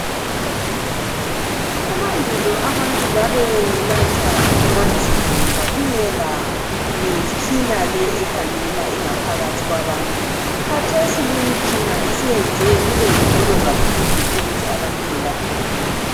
Emandulo abantu babelatshwa kanzima, ngoba kungela mitshina le ekhangala ingaphakathi kwabantu. Kathesi le imitshina isiyenze kubengcono kakhulu ukuthi abantu belapheke.